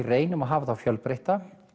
reynum að hafa þá fjölbreytta